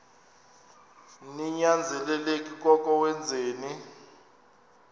ninyanzelekile koko wenzeni